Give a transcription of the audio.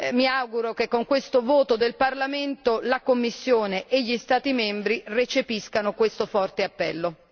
Mi auguro che attraverso la votazione del Parlamento, la Commissione e gli Stati membri recepiscano questo forte appello.